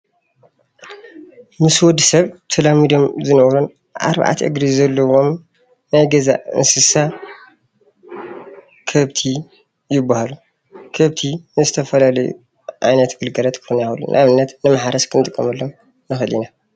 ምስ ወዲ ሰብ ተላሚዶም ዝነብሩን ኣርባዕተ እግሪ ዘለዎም ናይ ገዛ እንስሳ ከብቲ ይባሃሉ፡፡ ከብቲ ንዝተፈላለዩ ዓይነት ግልጋሉት ክኮኑ ይክእሉ እዮም፡፡ ንኣብነት ንማሕረስ ክንጥቀመሎም ንክእል ኢና፡፡